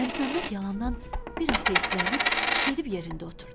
Məlikməmməd yalandan biraz hisslənib gedib yerində oturdu.